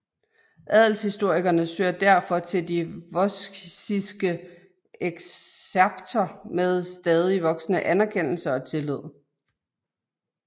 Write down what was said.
Adelshistorikerne søger derfor til de Vossiske Excerpter med stadig voksende anerkendelse og tillid